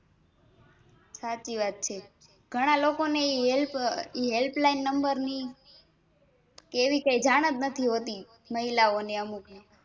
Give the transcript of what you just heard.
સાચી વાત છે ઘણા લોકોને એ HelpHelpline number ની એવી કાઈ જાણજ નથી હોતી મહિલા ઓને